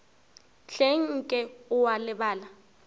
hleng nke o a lebala